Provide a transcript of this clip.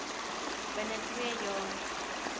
binne twee jaar